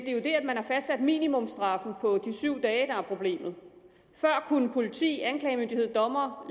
er jo det at man har fastsat minimumstraffen på de syv dage der er problemet før kunne politi anklagemyndighed og dommer